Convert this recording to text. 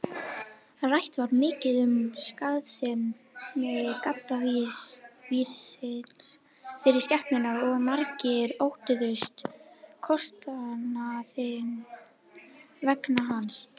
Rætt var mikið um skaðsemi gaddavírsins fyrir skepnurnar og margir óttuðust kostnaðinn vegna hans.